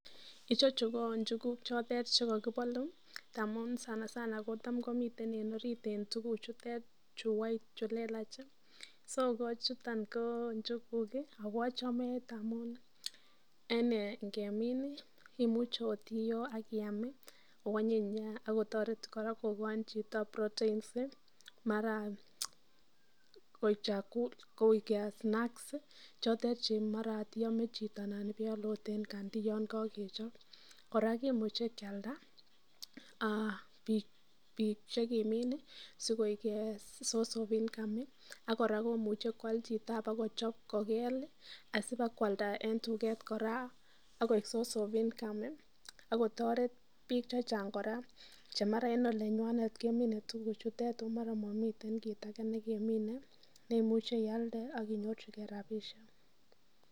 Ichechu ko njuguk choto che kokibolu tamun sanasana kotam komiten en orit en tuugk chutet chu lelach so chuton ko njuguk ago ochome ngamun en ingemin imuche ot iyoo ak iam ago onyiny nyaa ak kotoret kora kogaji chito proteins mara koik snacks chotet che mara ot iyome chito anan iole en kandi yon kogechop kora kimuche kealda biik che kimin sikoik source of income ak kora komuche chito ak kochop kobel asibakoalda en tuget kora ak koik source of income ak kotoret biik che chang kora che mara en olenywanet kemine tuguchutet oh mara momiten kit age nekemine neimuchi ialde ak inyorchige rabinik.